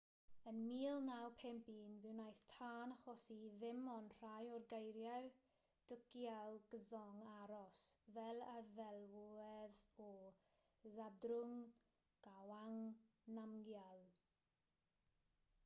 yn 1951 fe wnaeth tân achosi i ddim ond rhai o greiriau'r dukgyal dzong aros fel y ddelwedd o zhabdrung ngawang namgyal